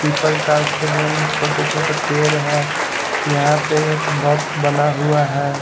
People था उसके बगल में छोटे छोटे पेड़ है यहां पे एक बॉक्स बना हुआ है।